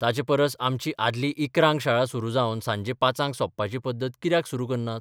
ताचे परस आमची आदली इकरांक शाळा सुरू जावन सांजे पांचाक सोंपपाची पद्दत कित्याक सुरू करनात?